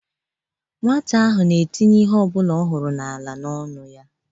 Nwata ahụ na-etinye ihe ọbụla ọ hụrụ n'ala n'ọnụ ya